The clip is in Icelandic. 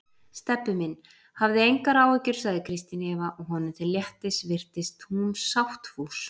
Stebbi minn, hafði engar áhyggjur sagði Kristín Eva og honum til léttis virtist hún sáttfús.